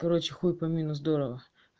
короче хуй пойми но здорово